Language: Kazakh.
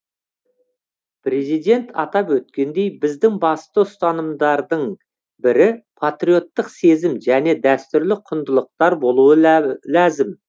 президент атап өткендей біздің басты ұстанымдардың бірі патриоттық сезім және дәстүрлі құндылықтар болуы ләзім